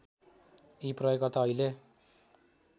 यी प्रयोगकर्ता अहिले